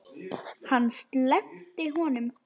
Hann sleppti honum!